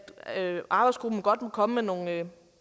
arbejdsgruppen godt må komme med nogle